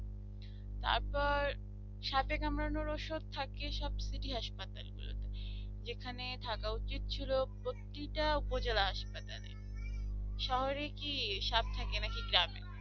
তারপর সাপে কামড়ানোর ওষুধ থাকে city হাসপাতাল গুলোতে যেখানে থাকা উচিত ছিল প্রতিটা উপজেলা হাসপাতালে শহরে কি সাপ থাকে নাকি গ্রামে